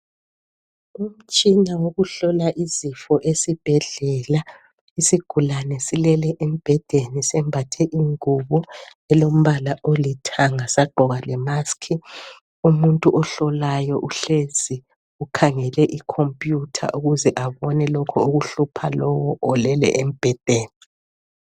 Umtshina owokuhlola izifo esibhedlela. Isigulane silele embhedeni sembathe ingubo elombala olithanga sagqoka lemaski. Umuntu ohlolayo uhlezi ukhangele ikhompuyutha ukuze abone okuhlupha lowu olele embhedeni.